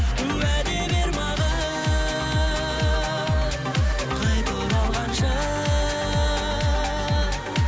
уәде бер маған қайта оралғанша